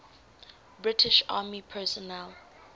british army personnel